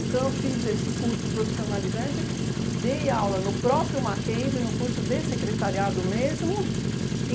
eu fiz esse curso profissionalizante, dei aula no próprio Mackenzie, no curso de secretariado mesmo.